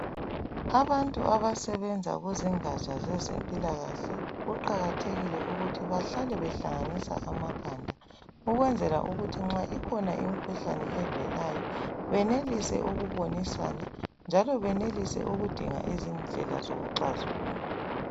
Abantu abasebenza kuzingatsha zezempilakahle, kuqakathekile ukuthi behlale behlanganisa amakhanda ukwenzela ukuthi nxa ikhona imkhuhlane evelayo benelise ukubonisana njalo benelise ukudinga izindlela zokuxazulula.